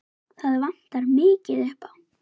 Það vantar mikið upp á.